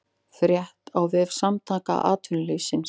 Frétt á vef Samtaka atvinnulífsins